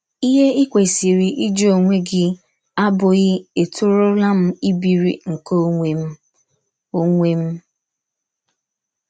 Ihe i kwesịrị ịjụ ọnwe gị abụghị ètọrụọla m ibiri nke ọnwe m? ọnwe m?